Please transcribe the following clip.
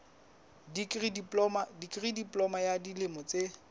dikri diploma ya dilemo tse